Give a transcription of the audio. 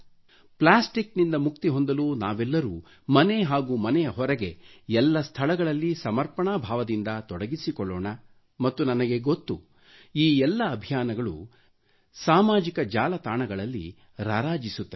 plastic ನಿಂದ ಮುಕ್ತಿ ಹೊಂದಲು ನಾವೆಲ್ಲರು ಮನೆ ಹಾಗೂ ಮನೆಯ ಹೊರಗೆ ಎಲ್ಲ ಸ್ಥಳಗಳಲ್ಲಿ ಸಮರ್ಪಣಾ ಭಾವದಿಂದ ತೊಡಗಿಸಿಕೊಳ್ಳೋಣ ಮತ್ತು ನನಗೆ ಗೊತ್ತು ಈ ಎಲ್ಲ ಅಭಿಯಾನಗಳು ಸಾಮಾಜಿಕ ಜಾಲತಾಣಗಳಲ್ಲಿ ರಾರಾಜಿಸುತ್ತವೆ